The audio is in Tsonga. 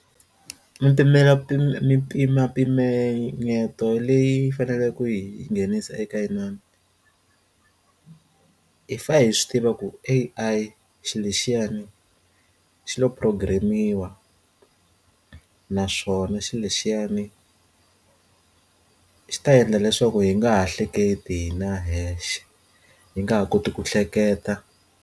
Mipela mimpimampimeto leyi faneleke hi yi nghenisa eka inani hi fane hi swi tiva ku A_I xilo lexiyani xilo programm-iwa na naswona xilo lexiyana xi ta endla leswaku yi nga ha hleketi na hexe hi nga ha koti ku hleketa.